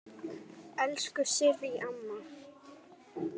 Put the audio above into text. Elsku Sirrý amma.